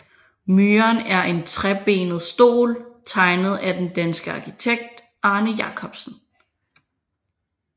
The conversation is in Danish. Myren er en trebenet stol tegnet af den danske arkitekt Arne Jacobsen